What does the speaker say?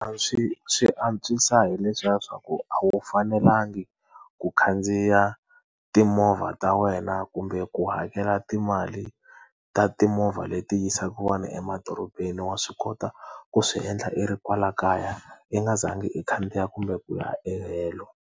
A swi swi antswisa hi leswiya swa ku a wu fanelanga ku khandziya timovha ta wena kumbe ku hakela timali ta timovha leti yisaka vanhu emadorobeni, wa swi kota ku swi endla i ri kwala kaya, i nga zangi i khandziya kumbe ku ya kahelo.